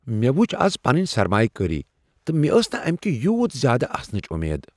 مےٚ وچھ آز پننہ سرمایہ کٲری تہٕ مےٚ ٲس نہٕ امہِ كہِ یوٗت زیادٕ آسنٕچ امید ۔